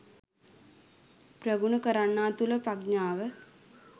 ප්‍රගුණ කරන්නා තුළ ප්‍රඥාව